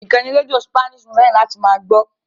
Ìkànnì rédíò spláṣì ni mo fẹ́ràn láti máa gbọ́.